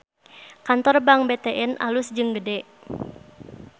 Kantor Bank BTN alus jeung gede